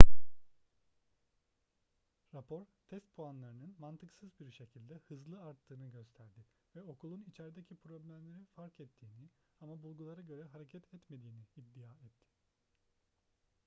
rapor test puanlarının mantıksız bir şekilde hızlı arttığını gösterdi ve okulun içerdeki problemleri fark ettiğini ama bulgulara göre hareket etmediğini iddia etti